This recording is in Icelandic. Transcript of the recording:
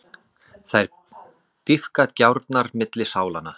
Þær dýpka gjárnar milli sálanna.